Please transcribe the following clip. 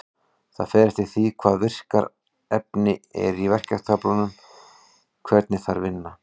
Það fer eftir því hvaða virka efni er í verkjatöflunum hvernig þær vinna.